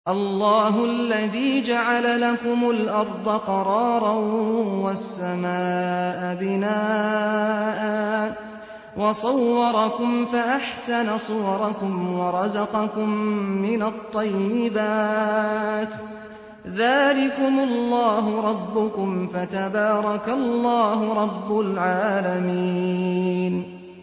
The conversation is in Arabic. اللَّهُ الَّذِي جَعَلَ لَكُمُ الْأَرْضَ قَرَارًا وَالسَّمَاءَ بِنَاءً وَصَوَّرَكُمْ فَأَحْسَنَ صُوَرَكُمْ وَرَزَقَكُم مِّنَ الطَّيِّبَاتِ ۚ ذَٰلِكُمُ اللَّهُ رَبُّكُمْ ۖ فَتَبَارَكَ اللَّهُ رَبُّ الْعَالَمِينَ